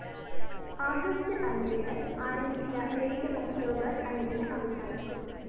August അഞ്ചിന് ആരംഭിച്ച raid October‍ അഞ്ചിന് അവസാനിക്കും